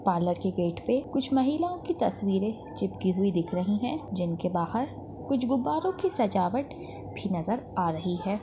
Parlour की gate पे कुछ महिलाओं की तस्वीरे चिपकी हुई दिख रही है जिनके बाहर कुछ गुब्बारों की सजावट भी नजर आ रही है।